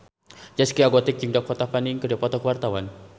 Zaskia Gotik jeung Dakota Fanning keur dipoto ku wartawan